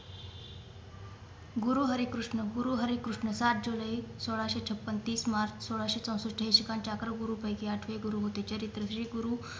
गुरु हरी कृष्ण गुरु हरी कृष्ण सात जुलै सोळाशे छपन्न तीस मार्च सोळाशे चौसष्ट हे शिखांचे अकरा गुरुं पैकीं आठवे गुरु होते चरित्र जे गुरु